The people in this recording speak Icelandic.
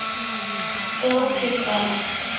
Glápir bara.